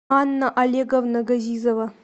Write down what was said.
анна олеговна газизова